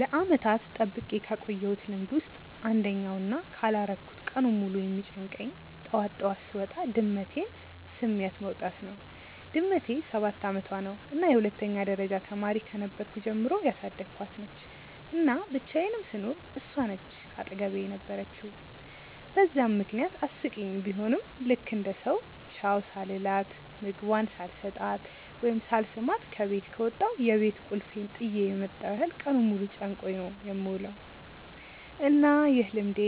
ለዓመታት ጠብቄ ካቆየውት ልምድ ውስጥ አንደኛው እና ካላረኩት ቀኑን ሙሉ የሚጨንቀኝ ጠዋት ጠዋት ስወጣ ድመቴን ስሚያት መውጣት ነው። ድመቴ ሰባት አመቷ ነው እና የሁለተኛ ደረጃ ተማሪ ከነበርኩ ጀምሮ ያሳደኳት ነች፤ እና ብቻየንም ስኖር እሷ ነች አጠገቤ የነበረችው በዛም ምክንያት አስቂኝ ቡሆም ልክ እንደ ሰው ቻው ሳልላት፣ ምግቧን ሳልሰጣት ወይም ሳልስማት ከበት ከወጣው የቤት ቁልፌን ጥየ የመጣው ያህል ቀኑን ሙሉ ጨንቆኝ ነው የምውለው። እና ይህ ልምዴ